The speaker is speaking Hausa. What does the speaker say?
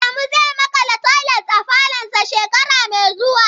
Adamu zai makala toilet a falonsa shekara mai zuwa.